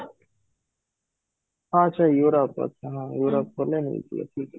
ହଁ ସେଇ Europe ଆଚ୍ଛା ହଁ Europe ଗଲେ ନେଇକି